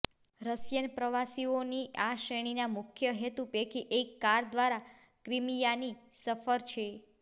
Russian પ્રવાસીઓની આ શ્રેણીના મુખ્ય હેતુ પૈકી એક કાર દ્વારા ક્રિમીયાની સફર છે